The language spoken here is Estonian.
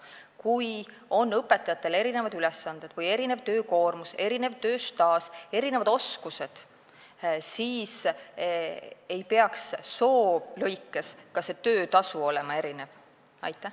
Kui õpetajatel on erinevad ülesanded või erinev töökoormus, erinev tööstaaž, erinevad oskused, siis ei peaks töötasu soo alusel erinev olema.